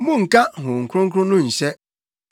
Monnka Honhom Kronkron no nhyɛ;